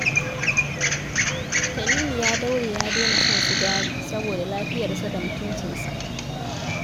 Tanimu ya daure ya daina shan sigari saboda lafiyarsa da mutuncinsa